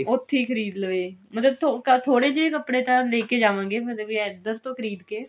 ਉੱਥੀ ਖਰੀਦ ਲਵੇ ਮਤਲਬ ਥੋੜੇ ਜੇ ਕੱਪੜੇ ਤਾਂ ਲੈਕੇ ਜਾਵਾਂਗੇ ਮਤਲਬ ਵੀ ਇੱਧਰ ਤੋਂ ਖਰੀਦ ਕਿ